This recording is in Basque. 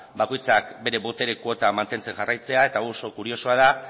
bakoitzak bere botere kuota mantentzen jarraitzea eta hau oso kuriosoa da